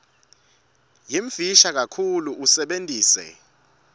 yimfisha kakhulu usebentise